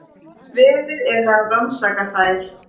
Verið er að rannsaka þær